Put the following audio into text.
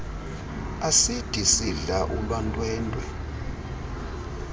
asidi isidla ulwantwentwe